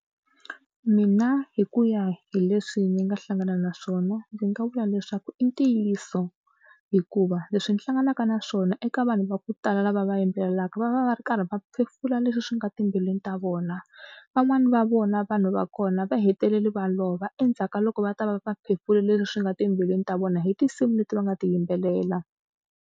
Mina hi ku ya hi leswi ni nga hlangana na swona ndzi nga vula leswaku i ntiyiso hikuva leswi ndzi hlanganaka na swona eka vanhu va ku tala lava va yimbelelaka va va va ri karhi va va phefula leswi swi nga timbilwini ta vona. Van'wani va vona vanhu va kona va hetelela va lova endzhaku ka loko va ta va va phefulile leswi swi nga timbilwini ta vona hi tinsimu leti va nga ti yimbelela.